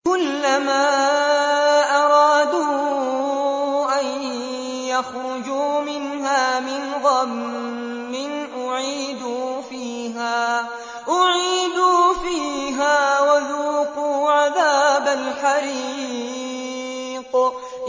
كُلَّمَا أَرَادُوا أَن يَخْرُجُوا مِنْهَا مِنْ غَمٍّ أُعِيدُوا فِيهَا وَذُوقُوا عَذَابَ الْحَرِيقِ